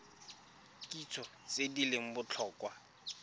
kitso tse di leng botlhokwa